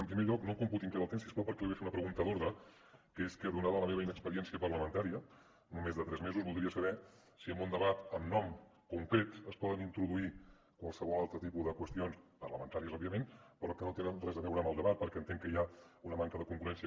en primer lloc no em computi encara el temps si us plau perquè li vull fer una pregunta d’ordre que és que donada la meva inexperiència parlamentària només de tres mesos voldria saber si en un debat amb nom concret es poden introduir qualsevol altre tipus de qüestions parlamentàries òbviament però que no tenen res a veure amb el debat perquè entenc que hi ha una manca de congruència